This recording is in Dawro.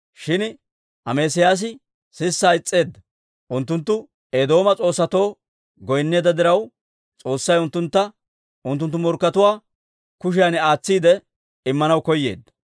Shin Amesiyaasi sissaa is's'eedda. Unttunttu Eedooma s'oossatoo goynneedda diraw, S'oossay unttuntta unttunttu morkkatuwaa kushiyan aatsiide Immanaw koyeedda.